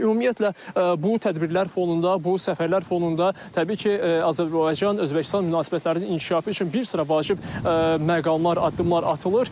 Ümumiyyətlə bu tədbirlər fonunda, bu səfərlər fonunda təbii ki, Azərbaycan-Özbəkistan münasibətlərinin inkişafı üçün bir sıra vacib məqamlar, addımlar atılır.